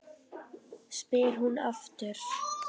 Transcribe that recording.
spyr hún aftur.